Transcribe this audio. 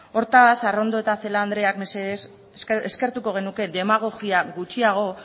hortaz arrondo eta celaá andreak mesedez eskertuko genuke demagogia gutxiago